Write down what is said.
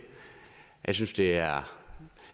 jeg synes det er